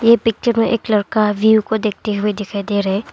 ये पिक्चर में एक लड़का व्यूज को देखते हुए दिखाई दे रहा है।